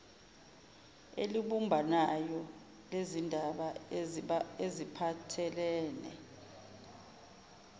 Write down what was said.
elibumbanayo lezindaba ezipahthelene